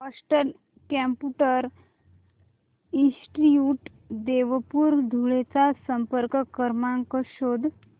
Boston computer institute Deopur Dhule चा संपर्क क्रमांक शोध